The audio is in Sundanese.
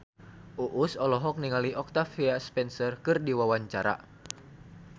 Uus olohok ningali Octavia Spencer keur diwawancara